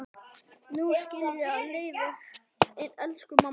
Nú skilja leiðir, elsku amma.